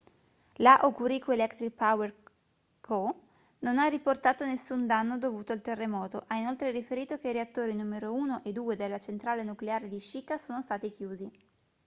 la hokuriku electric power co non ha riportato nessun danno dovuto al terremoto ha inoltre riferito che i reattori n 1 e 2 della centrale nucleare di shika sono stati chiusi